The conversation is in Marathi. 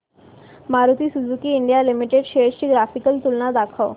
Maruti Suzuki India Limited shares ची ग्राफिकल तुलना दाखव